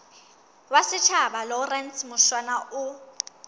wa setjhaba lawrence mushwana o